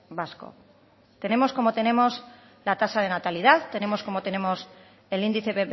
vasco tenemos como tenemos la tasa de natalidad tenemos como tenemos el índice